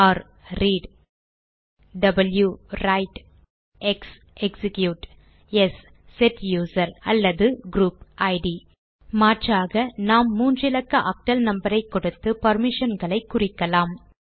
r read w write x execute s set user அல்லது group ID மாற்றாக நாம் மூன்று இலக்க ஆக்டல் நம்பர் ஐ கொடுத்து பெர்மிஷன்களை குறிக்கலாம்